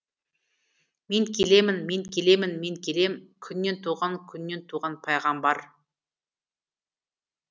мен келемін мен келемін мен келем күннен туған күннен туған пайғамбар